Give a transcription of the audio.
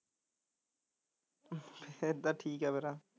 ਫਿਰ ਤਾਂ ਠੀਕ ਐ